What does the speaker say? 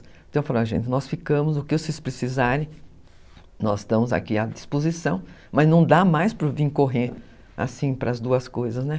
Então eu falava, gente, nós ficamos, o que vocês precisarem, nós estamos aqui à disposição, mas não dá mais para vir correndo, assim para as duas coisas, né?